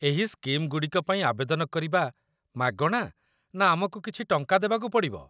ଏହି ସ୍କିମ୍‌ଗୁଡ଼ିକ ପାଇଁ ଆବେଦନ କରିବା ମାଗଣା ନା ଆମକୁ କିଛି ଟଙ୍କା ଦେବାକୁ ପଡ଼ିବ?